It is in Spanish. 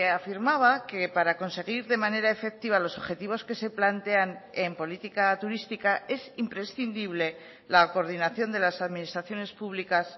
afirmaba que para conseguir de manera efectiva los objetivos que se plantean en política turística es imprescindible la coordinación de las administraciones públicas